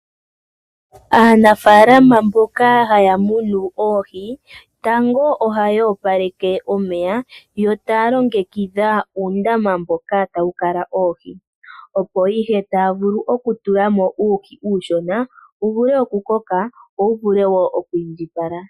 Aanafalama mboka haya munu oohi, tango ohaya opaleke omeya, yo taa longekidha uundama mboka tawu kala oohi. Opo ihe taa vulu okutulamo uuhi uushona wu vule okukoka, wo wu vule wo okwiindjipala.